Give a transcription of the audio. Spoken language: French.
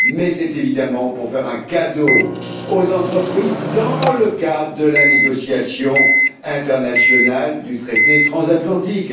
c'est évidemment pour faire un cadeau aux entreprises dans le cadre de la négociation internationale du traité transatlantique.